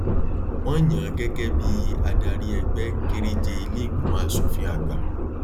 wọn yàn án gẹgẹ bíi adarí ẹgbẹ kéréje ilé ìgbìmọ aṣòfin àgbà